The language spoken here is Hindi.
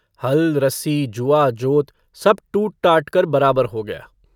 हल, रस्सी, जुआ, जोत, सब टूट-टाट कर बराबर हो गया।